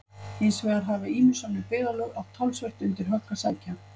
Hins vegar hafa ýmis önnur byggðarlög átt talsvert undir högg að sækja.